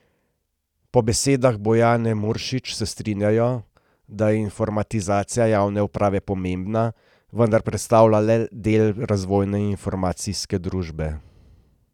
Po besedah Bojane Muršič se strinjajo, da je informatizacija javne uprave pomembna, vendar predstavlja le del razvoja informacijske družbe.